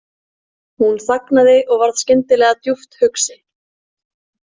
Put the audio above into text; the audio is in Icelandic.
Hún þagnaði og varð skyndilega djúpt hugsi.